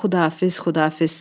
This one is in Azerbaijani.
Xudafiz, xudafiz.